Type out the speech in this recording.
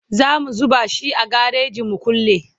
zamu zuba shi a gareji mu kulle